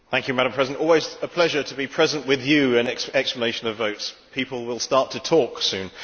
Madam President, it is always a pleasure to be present with you in explanations of votes. People will start to talk soon.